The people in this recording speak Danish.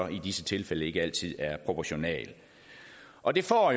i disse tilfælde ikke altid er proportional og det får